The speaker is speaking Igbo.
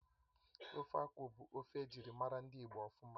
Ofe akwụ bụ ofe ejirimara ndị Igbo ofuma